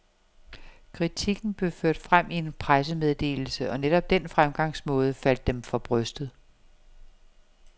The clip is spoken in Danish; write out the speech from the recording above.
Kritikken blev ført frem i en pressemeddelse, og netop den fremgangsmåde faldt dem for brystet.